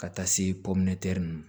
Ka taa se ma